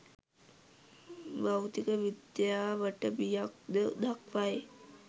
භෞතික විද්‍යාවට බියක්ද දක්වයි